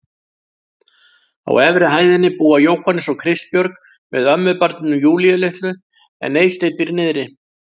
Á efri hæðinni búa Jóhannes og Kristbjörg með ömmubarninu Júlíu litlu en Eysteinn býr niðri.